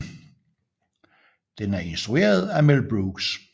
Den er instrueret af Mel Brooks